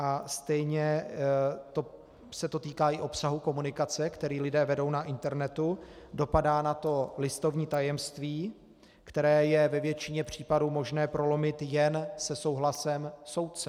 A stejně se to týká i obsahu komunikace, kterou lidé vedou na internetu, dopadá na to listovní tajemství, které je ve většině případů možné prolomit jen se souhlasem soudce.